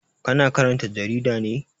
Ka na karanta jarida ne?